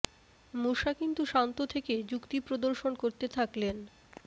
মুসা কিন্তু শান্ত থেকে যুক্তি প্রদর্শন করতে থাকলেন